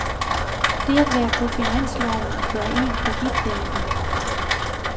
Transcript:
Det at være på finansloven gør en kreditværdig.